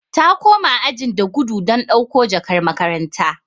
Ta koma ajin da gudu don dauko jakar makaranta.